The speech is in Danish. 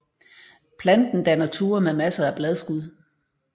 Planten danner tuer med masser af bladskud